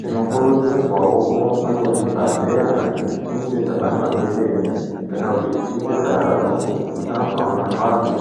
Tinokurudzirwawo kurumbe kuzvibhedhleya kana tichinge tabatwa ngedenda kana tichinge tazwa marwadzo